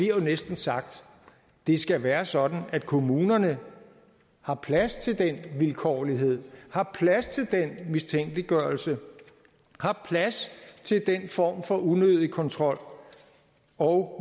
jo næsten sagt det skal være sådan at kommunerne har plads til den vilkårlighed har plads til den mistænkeliggørelse har plads til den form for unødig kontrol og